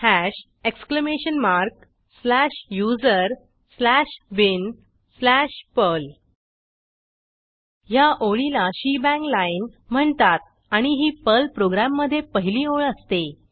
hash exclamation mark slash USR slash bin slash Perl ह्या ओळीला shebang line shebang line म्हणतात आणि ही पर्ल प्रोग्रॅममधे पहिली ओळ असते